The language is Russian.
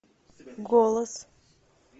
голос